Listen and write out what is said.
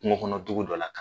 Kungo kɔnɔ dugu dɔ la.